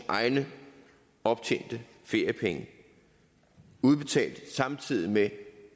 egne optjente feriepenge udbetalt samtidig med